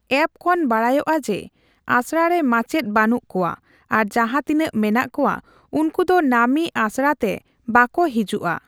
App ᱠᱷᱚᱱ ᱵᱟᱰᱟᱭᱚᱜᱼᱟ ᱡᱮ ᱟᱥᱲᱟ ᱨᱮ ᱢᱟᱪᱮᱫ ᱵᱟᱹᱱᱩᱜ ᱠᱚᱣᱟ ᱟᱨ ᱡᱟᱦᱟᱸ ᱛᱤᱱᱟᱹᱜ ᱢᱮᱱᱟᱜ ᱠᱚᱣᱟ ᱩᱱᱠᱩ ᱫᱚ ᱱᱟᱹᱢᱤ ᱟᱥᱲᱟ ᱛᱮ ᱵᱟᱠᱚ ᱦᱤᱡᱩᱜᱼᱟ ᱾